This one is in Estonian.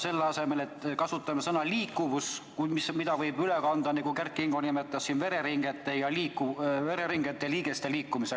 Selle asemel kasutame sõna "liikuvus", mida võib kasutada, nagu Kert Kingo nimetas, vereringest ja liigestest rääkides.